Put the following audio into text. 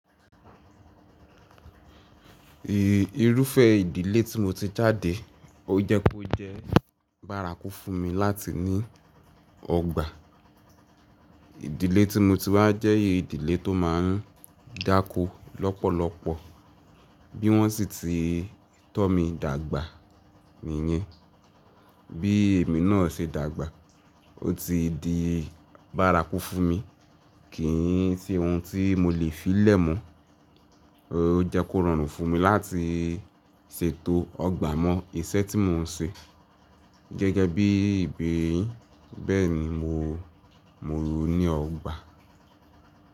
Ì irúfẹ́ ìdílé tí mo ti jáde o jẹ́ pé ó jẹ́ bárakú fún mi láti ní ọgbà. Ìdílé tí mo ti wá jẹ́ ìdílé tó má ń dáko lọ́pọ̀lọpọ̀ bí wọ́n sì ti tọ́ mi dàgbà nìyẹn. Bí èmi náà ṣe dàgbà o ti di bárakú fún mi, kíi n se ohun tí mo lè fí lẹ̀ mọ́. O jẹ́ kó rọrùn fún mi láti sètò ọgbà mọ́ iṣẹ́ tí mò ń ṣe gẹ́gẹ́ bí ìbèere yin, bẹ́ẹ̀ ni mo mo ní ọgbà.